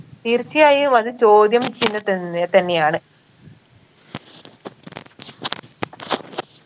തീർച്ചയായും അത് ചോദ്യം ചിഹ്നം തന്നെ തന്നെയാണ്